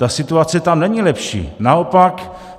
Ta situace tam není lepší, naopak.